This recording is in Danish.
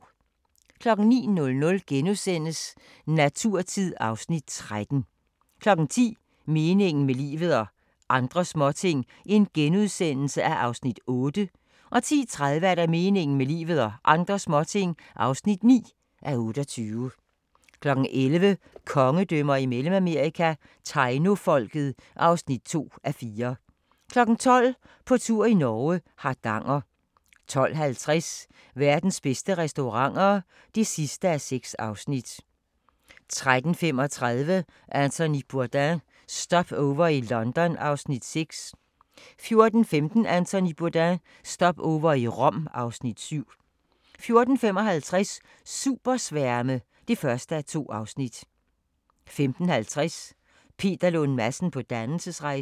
09:00: Naturtid (Afs. 13)* 10:00: Meningen med livet – og andre småting (8:28)* 10:30: Meningen med livet – og andre småting (9:28) 11:00: Kongedømmer i Mellemamerika – Tainofolket (2:4) 12:00: På tur i Norge: Hardanger 12:50: Verdens bedste restauranter (6:6) 13:35: Anthony Bourdain – Stopover i London (Afs. 6) 14:15: Anthony Bourdain – Stopover i Rom (Afs. 7) 14:55: Supersværme (1:2) 15:50: Peter Lund Madsen på dannelsesrejse